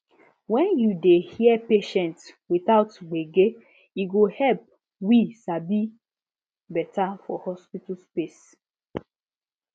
when you dey hear patients without gbege e go help we sabi better for hospital space